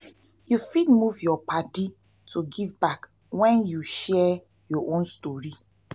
you fit move yur padi to give back wen yu share yur own stori.